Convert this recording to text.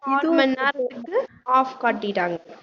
ஆறு மணி நேரத்துக்கு half காட்டிட்டாங்க